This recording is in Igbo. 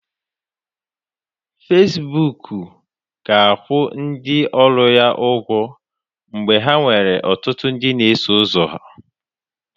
Facibụkụ ga-akwụ ndị ọrụ ya ụgwọ mgbe ha nwere ọtụtụ ndị na-eso ụzọ